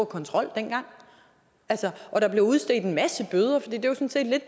kontrol og at der blev udstedt en masse bøder for